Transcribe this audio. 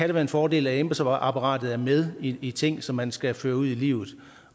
det være en fordel at embedsapparatet er med i de ting som man skal føre ud i livet